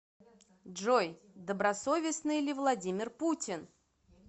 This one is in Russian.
джой добросовестный ли владимир путин